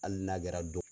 Hali n'a kɛra don